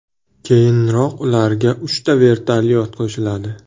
Keyinroq ularga uchta vertolyot qo‘shiladi.